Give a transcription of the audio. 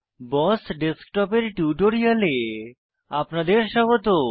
বস desktop এর টিউটোরিয়ালে আপনাদের স্বাগত